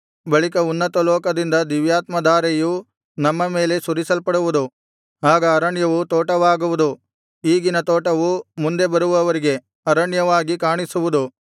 ಬಳಿಕ ಉನ್ನತಲೋಕದಿಂದ ದಿವ್ಯಾತ್ಮಧಾರೆಯು ನಮ್ಮ ಮೇಲೆ ಸುರಿಸಲ್ಪಡುವುದು ಆಗ ಅರಣ್ಯವು ತೋಟವಾಗುವುದು ಈಗಿನ ತೋಟವು ಮುಂದೆ ಬರುವವರಿಗೆ ಅರಣ್ಯವಾಗಿ ಕಾಣಿಸುವುದು